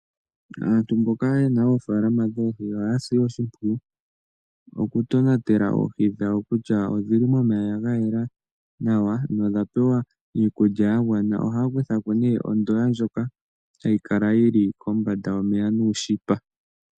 Aantu yena oofaalama dhoohi ohaya si oshimpwiyu oku tonatela oohi dhawo kutya odhili momeya gayela nawa na odha pewa iikulya yagwana. Ohaya kutha ko nee ondoya ndjoka hayikala yili kombanda yomeya nuunete.